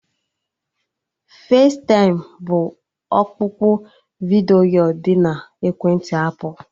Festaịm bụ ọkpụkpụ vidiyo dị na ekwentị apụl